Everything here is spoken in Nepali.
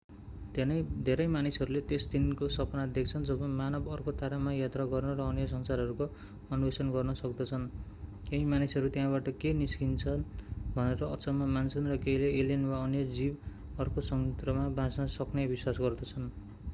धेरै मानिसहरूले त्यस दिनको सपना देख्छन् जब मानव अर्को तारामा यात्रा गर्न र अन्य संसारहरूको अन्वेषण गर्न सक्दछन् केही मानिसहरू त्यहाँबाट के निस्किन्छ भनेर अचम्म मान्छन् र केहीले एलियन वा अन्य जीवन अर्को संयन्त्रमा बाँच्न सक्ने विश्वास गर्दछन्